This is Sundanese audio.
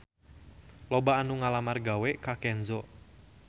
Loba anu ngalamar gawe ka Kenzo